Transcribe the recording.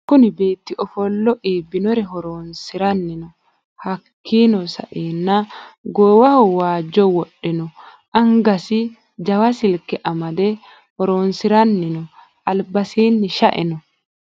Kunni beetti ofolle iibinore horronisirani no. hakiino sa'eena goowaho baajo wodhe no anigasi jawa silike amade horronisirani no.alibasiini sha'e no.